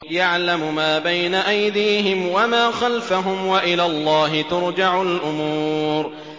يَعْلَمُ مَا بَيْنَ أَيْدِيهِمْ وَمَا خَلْفَهُمْ ۗ وَإِلَى اللَّهِ تُرْجَعُ الْأُمُورُ